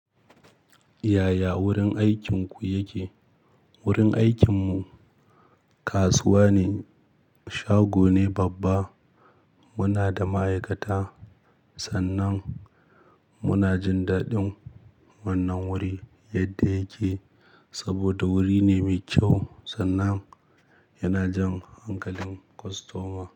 Yaya wurin aikinku yake? Wurin aikinmu kasuwa ne, shago ne babba. Muna da ma'aikata sannan muna jin daɗin wannan wuri yadda yake saboda wuri ne mai kyau sannan yana jan hankalin kostoma.